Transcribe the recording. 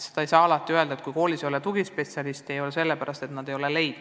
Veel võib olla nii, et kui koolis ei ole tugispetsialisti, siis mitte seepärast, et kool pole teda otsinudki.